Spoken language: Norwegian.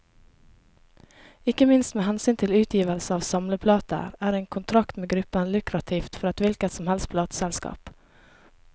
Ikke minst med hensyn til utgivelse av samleplater, er en kontrakt med gruppen lukrativt for et hvilket som helst plateselskap.